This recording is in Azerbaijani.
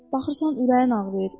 Baxırsan, ürəyin ağrıyır.